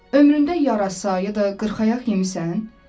Ömründə yarasa ya da qırxayaq yemisan?